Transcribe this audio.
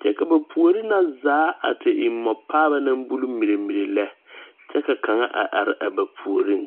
kyɛ ka ba puore na zaa a te e mɔ paaba naŋ bule mire mire lɛ kyɛ ka kaŋa a are a ba puoriŋ.